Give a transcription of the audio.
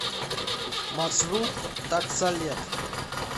маршрут таксолет